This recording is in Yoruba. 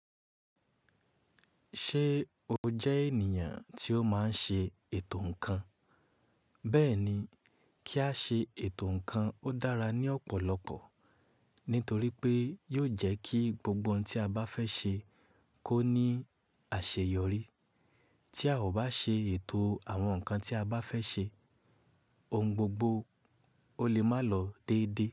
Ṣé o jẹ́ ènìyàn tí ó máa ń ṣe ètò ǹkan? Bẹ́ẹ̀ ni, kí a ṣe ètò ǹkan ó dára ní ọ̀pọ̀lọpọ̀, nítorí pé yóò jẹ́ kí gbogbo ohun tí a bá fẹ́ ṣe kó ní àṣeyọrí. Tí a ò bá ṣe ètò àwọn ǹkan tí a bá fẹ́ ṣe, ohun gbogbo ó lè má lọ déédé.